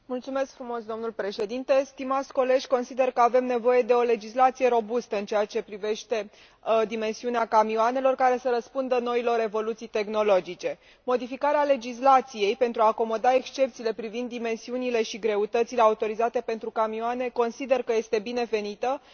Domnule președinte, consider că avem nevoie de o legislație robustă în ceea ce privește dimensiunea camioanelor, care să răspundă noilor evoluții tehnologice. Consider că modificarea legislației pentru a acomoda excepțiile privind dimensiunile și greutățile autorizate pentru camioane este binevenită și